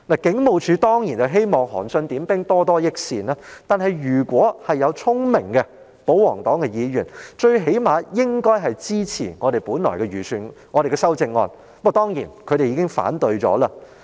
警務處當然希望可以"韓信點兵，多多益善"，但保皇黨中如有議員聰明一點，最低限度也應支持我們提出的修正案，不過他們已全數否決了。